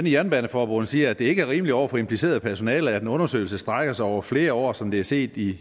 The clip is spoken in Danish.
jernbaneforbund siger at det ikke er rimeligt over for impliceret personale at en undersøgelse strækker sig over flere år som det er set i